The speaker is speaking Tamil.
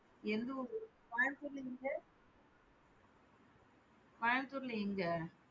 எந்த ஊரு? கோயம்புத்தூர்ல எங்க? கோயம்புத்தூர்ல எங்க?